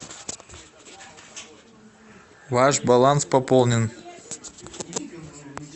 ваш баланс пополнен